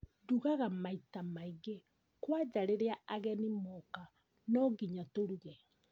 Ndugaga maita maingĩ kwanja rĩrĩa ageni moka nonginya tũruge